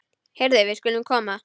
Heyrðu, við skulum koma.